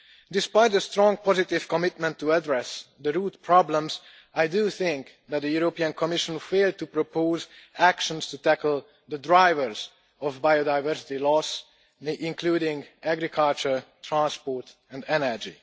Despite the strong positive commitment to addressing the root problems, I think that the European Commission has failed to propose actions to tackle the drivers of biodiversity loss, including agriculture, transport and energy.